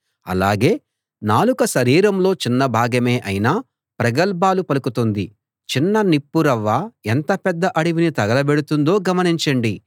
అలాగే నాలుక శరీరంలో చిన్న భాగమే అయినా ప్రగల్భాలు పలుకుతుంది చిన్న నిప్పు రవ్వ ఎంత పెద్ద అడవిని తగల బెడుతుందో గమనించండి